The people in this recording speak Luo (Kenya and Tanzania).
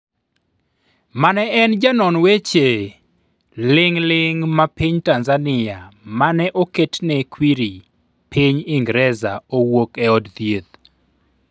mane en Janon weche ling'ling ma piny Tanzania mane oktne kwiri piny Ingreza owuok e od thieth